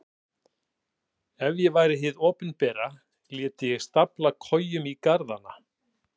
Ef ég væri hið opinbera léti ég stafla kojum í garðana.